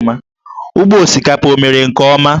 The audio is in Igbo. Ugbo osikapa o mere nke ọma?